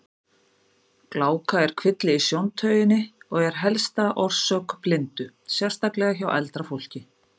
Gláka er kvilli í sjóntauginni og er helsta orsök blindu, sérstaklega hjá eldra fólki.